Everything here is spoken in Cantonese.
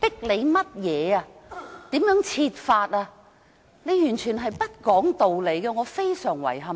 你蠻不講理，我對此感到非常遺憾。